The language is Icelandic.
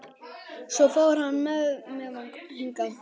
Svo fór hann með mig hingað.